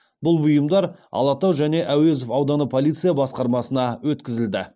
бұл бұйымдар алатау және әуезов ауданы полиция басқармасына өткізілді